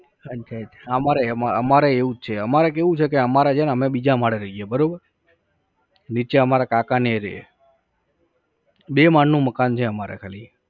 અચ્છા અચ્છા અમારે એમાં અમારે એવું જ છે. અમારે કેવું છે કે અમારે છે ને અમે બીજા માળે રહીએ બરોબર. નીચે અમારા કાકાને એ રહે. બે માળનું મકાન છે અમારે ખાલી